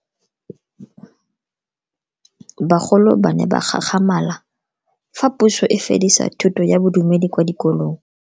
Bagolo ba ne ba gakgamala fa Puso e fedisa thuto ya Bodumedi kwa dikolong.